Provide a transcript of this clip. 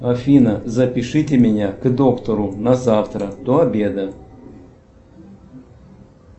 афина запишите меня к доктору на завтра до обеда